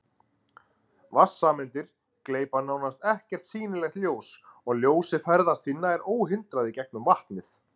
Vatnssameindir gleypa nánast ekkert sýnilegt ljós og ljósið ferðast því nær óhindrað í gegnum vatnið.